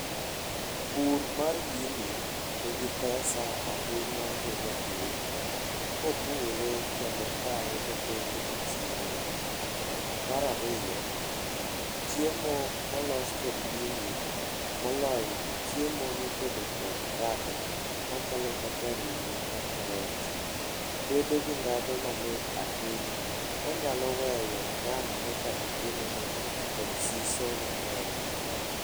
Pur mar gini nigi pesa ahinya ne japur, kopure kendo okae motere e chiro. Mar ariyo, chiemo molos kod gini, moloyo to chiemo motedo kod kado, machalo kaka ring'o kata rech bedo gi dhadhu mamit ahinya, manyalo weyo ng'ano mochamo chiemono kod siso mang'eny